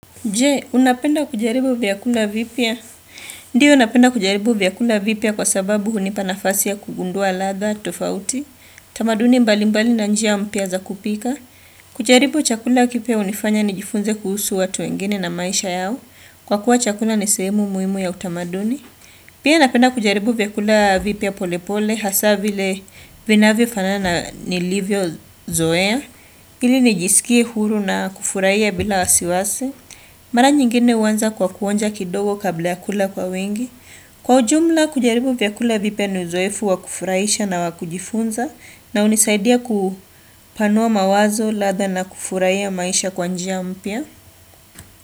Je, unapenda kujaribu vyakula vipya? Ndiyo napenda kujaribu vyakula vipya kwa sababu hunipa nafasi ya kugundua ladha, tofauti, tamaduni mbalimbali na njia mpya za kupika. Kujaribu chakula kipya hunifanya nijifunze kuhusu watu wengine na maisha yao, kwa kuwa chakula nisehemu muhimu ya utamaduni. Pia napenda kujaribu vyakula vipya polepole, hasa vile vinavyofanana na nilivyozoea, ili nijisikie huru na kufuraiya bila wasiwasi. Mara nyingine huanza kwa kuonja kidogo kabla ya kula kwa wengi. Kwa ujumla kujaribu vyakula vipya ni uzoefu wakufuraisha na wakujifunza na unisaidia kupanua mawazo ladha na kufuraia maisha kwa njia mpya.